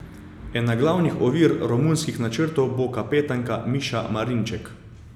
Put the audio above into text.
Ena glavnih ovir romunskim načrtom bo kapetanka Miša Marinček.